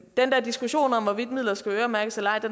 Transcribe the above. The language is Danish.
der diskussion om hvorvidt midler skal øremærkes eller ej